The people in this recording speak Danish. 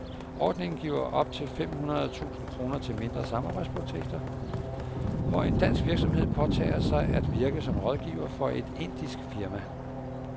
Ordningen giver op til fem hundrede tusind kroner til mindre samarbejdsprojekter, hvor en dansk virksomhed påtager sig at virke som rådgiver for et indisk firma.